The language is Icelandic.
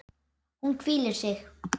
Hún hvílir sig.